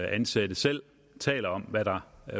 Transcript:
ansatte selv taler om hvad der